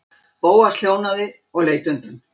Bóas hljóðnaði og leit undan.